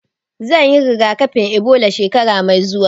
Zan yi rigakafin Ebola shekara mai zuwa